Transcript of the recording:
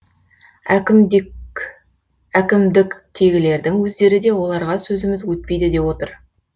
әкімдіктегілердің өздері де оларға сөзіміз өтпейді деп отыр